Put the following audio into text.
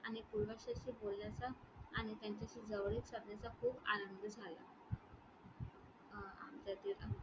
आणि बोलण्याचा आणि त्यांच्याशी जवळीक साधण्याचा खूप आनंद झाला. अं